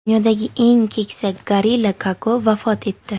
Dunyodagi eng keksa gorilla Koko vafot etdi.